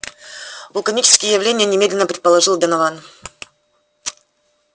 вулканические явления немедленно предположил донован